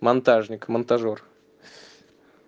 монтажник монтажёр